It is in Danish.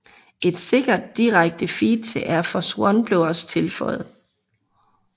Et sikkert direkte feed til Air Force One blev også tilføjet